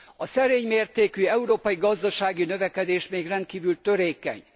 A szerény mértékű európai gazdasági növekedés még rendkívül törékeny.